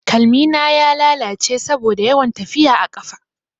Kalmina ya lalace saboda yawan tafiya a ƙafa.